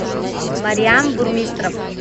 марьян бурмистров